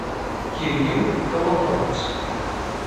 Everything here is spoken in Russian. кирилл коломоец